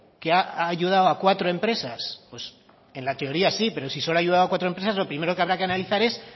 que ha ayudado a cuatro empresas en la teoría sí pero si solo ha ayudado a cuatro empresas lo primero que habrá que analizar es